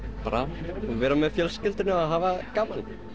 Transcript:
bara vera með fjölskyldunni og hafa gaman þau